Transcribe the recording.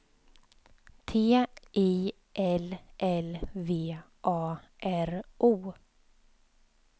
T I L L V A R O